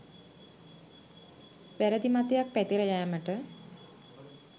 වැරැදි මතයක් පැතිර යෑමට